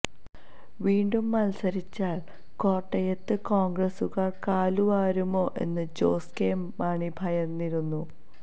വീണ്ടും മത്സരിച്ചാല് കോട്ടയത്ത് കോണ്ഗ്രസുകാര് കാലു വാരുമോ എന്ന് ജോസ് കെ മാണി ഭയന്നിരുന്നു